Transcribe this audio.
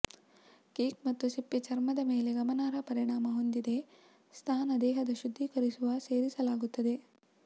cake ಮತ್ತು ಸಿಪ್ಪೆ ಚರ್ಮದ ಮೇಲೆ ಗಮನಾರ್ಹ ಪರಿಣಾಮ ಹೊಂದಿದೆ ಸ್ನಾನ ದೇಹದ ಶುದ್ಧೀಕರಿಸುವ ಸೇರಿಸಲಾಗುತ್ತದೆ